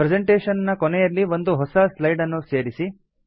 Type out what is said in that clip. presentation ನ ಕೊನೆಯಲ್ಲಿ ಒಂದು ಹೊಸ ಸ್ಲೈಡ್ ಅನ್ನು ಸೇರಿಸಿ